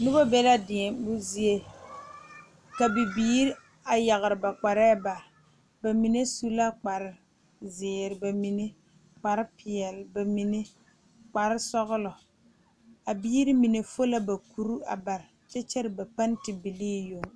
Noba be la deɛmo zie ka bibiiri a yaare ba kparre bare bamine su la kpare ziiri bamine kpare peɛle bamine kpare sɔglɔ a biiri mine fu la ba kuri a bare kyɛ kyɛrɛ ba penti bile yoŋ.